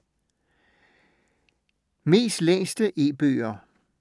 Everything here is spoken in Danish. Mest læste E-bøger